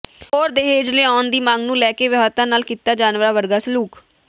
ਹੋਰ ਦਹੇਜ ਲਿਆਉਣ ਦੀ ਮੰਗ ਨੂੰ ਲੈ ਕੇ ਵਿਆਹੁਤਾ ਨਾਲ ਕੀਤਾ ਜਾਨਵਰਾਂ ਵਰਗਾ ਸਲੂਕ